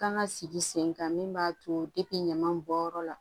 Kan ka sigi sen kan min b'a to ɲaman bɔnyɔrɔ la